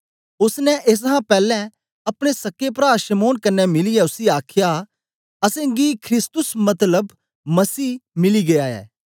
ओसने ऐसहां पैलैं अपने सक्के प्रा शमौन कन्ने मिलीयै उसी आखया असेंगी ख्रिस्तुस मतलब मसीह मिली गीया ऐ